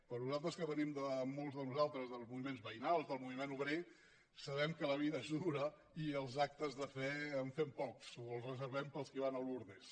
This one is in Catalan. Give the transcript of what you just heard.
per nosaltres que venim molts de nosaltres dels moviments veïnals del moviment obrer sabem que la vida és dura i els d’actes de fe en fem pocs els reservem per als qui van a lourdes